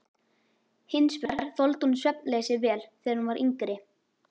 Hins vegar þoldi hún svefnleysi vel þegar hún var yngri.